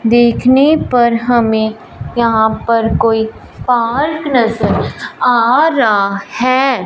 देखने पर हमें यहां पर कोई पार्क नजर आ रहा है।